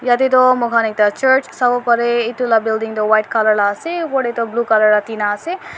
yatae toh moi khan ekta church savo parey etu laga building toh white colour laga ase opor tae toh blue colour laga tina ase.